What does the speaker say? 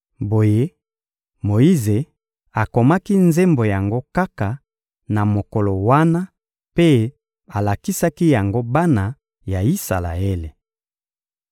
Boye, Moyize akomaki nzembo yango kaka na mokolo wana mpe alakisaki yango bana ya Isalaele.